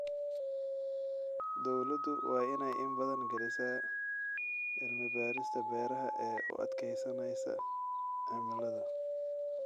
Dawladdu waa inay in badan gelisaa cilmi-baadhista beeraha ee u adkaysanaysa cimilada.